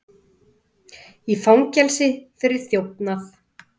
Í fangelsi fyrir þjófnað